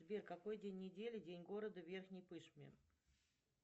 сбер какой день недели день города в верхней пышме